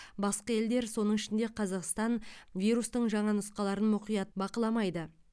басқа елдер соның ішінде қазақстан вирустың жаңа нұсқаларын мұқият бақыламайды